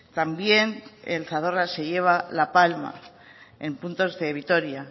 también el zadorra se lleva la palma en puntos de vitoria